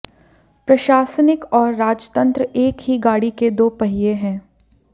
प्रशासनिक और राजतंत्र एक ही गाड़ी के दो पहिए हैं